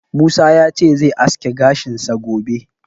Musa ya ce zai aske gashinsa gobe.